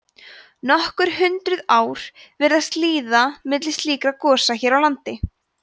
nokkur hundruð ár virðast líða milli slíkra gosa hér á landi